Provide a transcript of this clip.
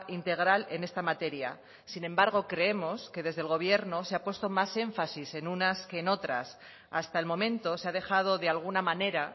integral en esta materia sin embargo creemos que desde el gobierno se ha puesto más énfasis en unas que en otras hasta el momento se ha dejado de alguna manera